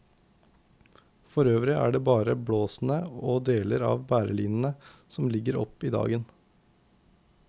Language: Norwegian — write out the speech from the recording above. For øvrig er det bare blåsene og deler av bærelinene som ligger opp i dagen.